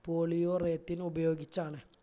polyurathane ഉപയോഗിച്ചാണ്